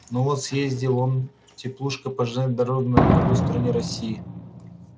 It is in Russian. ну вот съездил он теплушкой по железной дороге на другую сторону россии